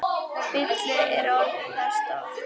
Bilið er orðið það stórt.